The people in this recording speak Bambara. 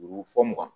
Juru fɔ mugan